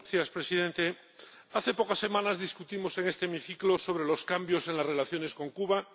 Señor Presidente, hace pocas semanas discutimos en este hemiciclo sobre los cambios en las relaciones con Cuba